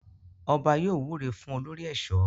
Ọba yóò wúre fún olórí ẹ̀ṣọ́.